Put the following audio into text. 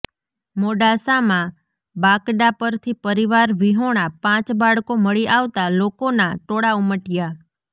મોડાસામાં બાકડા પરથી પરિવાર વિહોણા પાંચ બાળકો મળી આવતાં લોકોના ટોળા ઉમટ્યા